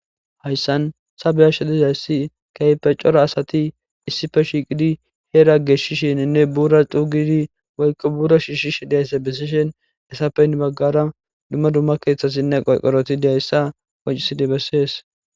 Hayissani ta beyashe dizayisi ayibbe giko kehipe corra assati issipe shiqidi bee lage shishidi burra tokishe shishishe, he baggara duma duma kethati betosona